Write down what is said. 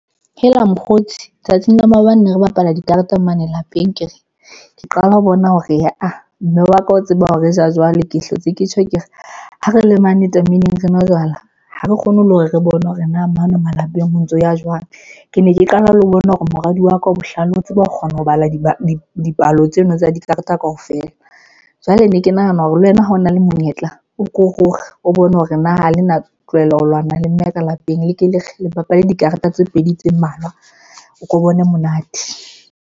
Hela mokgotsi tsatsing la maobane ne re bapala dikareta mane lapeng ke re, ke qala ho bona hore aa mme wa ka o tseba hore re ja jwale, ke hlotse ke tjho, ke re ha re le mane tameneng, re nwa jwala ha re kgone le hore re bone hore na mane malapeng ho ntso ya jwang. Ke ne ke qala le ho bona hore moradi wa ka o bohlale. O tseba ho kgona ho bala dipalo tseno tsa dikarata kaofela. Jwale ne ke nahana hore le wena ha o na le monyetla, o ko ruri o bone hore na ha le na tlohela ho lwana le mme ka lapeng le ke le re le bapale dikarata tse pedi tse mmalwa. O ko bone monate.